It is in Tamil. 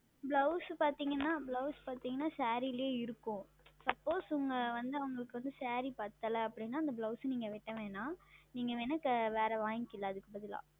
Blouse பார்த்தீர்கள் என்றால் Blouse பார்த்தீர்கள் என்றால் Saree லியே இருக்கும் Suppose உங்கள் வந்து அவர்களுக்கு Saree சரியான அளவாக இல்லை அப்படி என்றால் அந்த Blouse நீங்கள் வெட்ட வேண்டாம் நீங்கள் வேண்டுமென்றால் வேறு வாங்கி கொள்ளலாம் அதற்கு பதிலாக